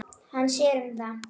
Hann sér um það.